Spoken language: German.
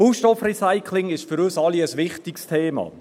Baustoffrecycling ist für uns alle ein wichtiges Thema.